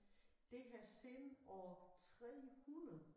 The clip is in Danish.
Det har siden år 300